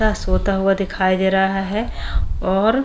सोता हुआ दिखाई दे रहा है और --